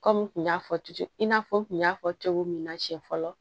Kɔmi n kun y'a fɔ cɛ in n'a fɔ n kun y'a fɔ cogo min na siɲɛ fɔlɔ